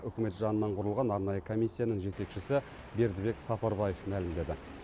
үкімет жанынан құрылған арнайы комиссияның жетекшісі бердібек сапарбаев мәлімдеді